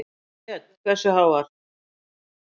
Björn: Hversu háar?